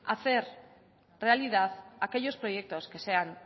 hacer realidad aquellos proyectos que sean